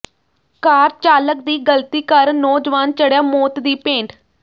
ਕਾਰ ਚਾਲਕ ਦੀ ਗਲਤੀ ਕਾਰਨ ਨੌਜਵਾਨ ਚੜ੍ਹਿਆ ਮੌਤ ਦੀ ਭੇਂਟ